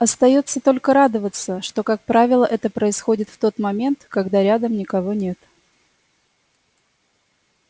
остаётся только радоваться что как правило это происходит в тот момент когда рядом никого нет